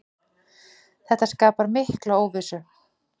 Þetta skapar mikla óvissu.